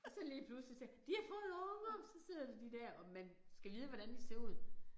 Og så lige pludselig så de har fået unger så sidder der de dér og man skal vide hvordan de ser ud